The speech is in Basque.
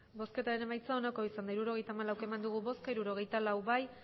emandako botoak hirurogeita hamalau bai hirurogeita lau